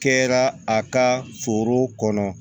Kɛra a ka foro kɔnɔ